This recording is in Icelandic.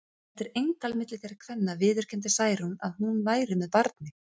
Eftir eintal milli þeirra kvenna viðurkenndi Særún að hún væri með barni.